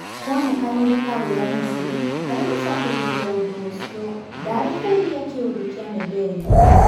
Kuonekanire taũrĩa Mesi, harĩgũcokerithia ũndũ ũcio, ndarĩhĩirie kĩũndũ kĩa Medeli.